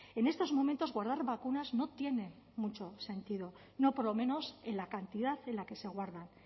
en estos momentos guardar vacunas no tiene mucho sentido no por lo menos en la cantidad en la que se guardan